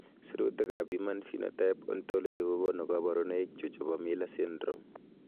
Sirutikab Human Phenotype Ontology kokonu koborunoikchu chebo Miller syndrome.